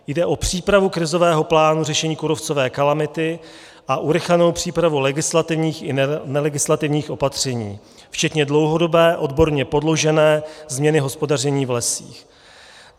Jde o přípravu krizového plánu řešení kůrovcové kalamity a urychlenou přípravu legislativních i nelegislativních opatření včetně dlouhodobé, odborně podložené změny hospodaření v lesích.